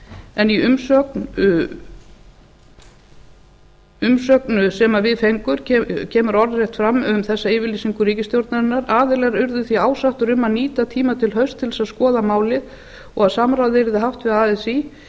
en í umsögn sem við dögum kemur orðrétt fram um þessa yfirlýsingu ríkisstjórnarinnar aðilar urðu því ásáttir um að nýta tímann til hausts til að skoða málið og samráð yrði haft við así